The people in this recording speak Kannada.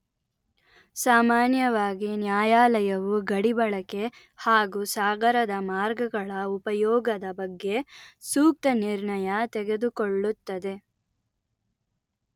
ಸಾಮಾನ್ಯವಾಗಿ ನ್ಯಾಯಾಲಯವು ಗಡಿ ಬಳಕೆ ಹಾಗು ಸಾಗರದ ಮಾರ್ಗಗಳ ಉಪಯೋಗದ ಬಗ್ಗೆ ಸೂಕ್ತ ನಿರ್ಣಯ ತೆಗೆದುಕೊಳ್ಳುತ್ತದೆ